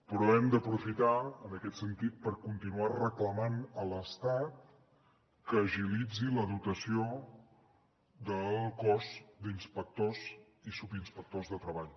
però hem d’aprofitar en aquest sentit per continuar reclamant a l’estat que agilitzi la dotació del cos d’inspectors i subinspectors de treball